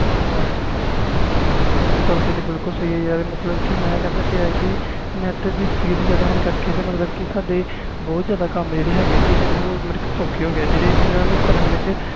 ਹਾਂ ਗੱਲ ਸਹੀ ਆ ਮੈਂ ਕਹਿੰਦਾ ਪਿਆ ਕਿ net speed ਜਿਆਦਾ ਹੋਣ ਕਰਕੇ ਸਦਾਏ ਬਹੁਤ ਕੰਮ ਸੋਖੇ ਹੋ ਗਏ ਨੇ